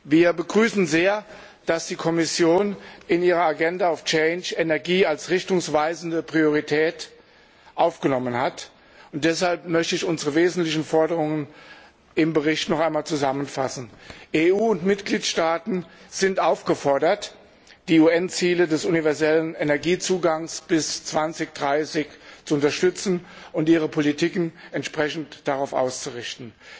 Wir begrüßen sehr, dass die Kommission in ihrer Agenda of Change Energie als richtungsweisende Priorität aufgenommen hat. Deshalb möchte ich unsere wesentlichen Forderungen im Bericht noch einmal zusammenfassen EU und Mitgliedstaaten sind aufgefordert, die UN Ziele des universellen Zugangs zu Energie bis 2030 zu unterstützen und ihre Politiken entsprechend darauf auszurichten.